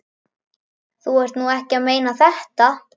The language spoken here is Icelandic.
Þú ert nú ekki að meina þetta!